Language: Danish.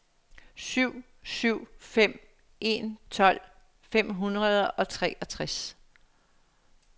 syv syv fem en tolv fem hundrede og treogtres